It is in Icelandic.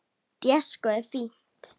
Déskoti fínt.